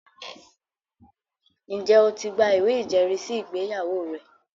Ǹjẹ́ o ti gba ìwé ìjẹ́rìísí ìgbéyàwó rẹ?